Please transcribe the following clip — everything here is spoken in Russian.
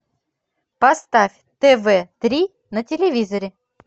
поставь тв три на телевизоре